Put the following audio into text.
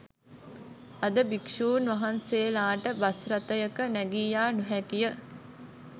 අද භික්‍ෂූන් වහන්සේලාට බස් රථයක නැගී යා නොහැකි ය.